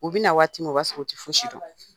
U bɛ na waati min o b'a sɔrɔ u tɛ fosi dɔn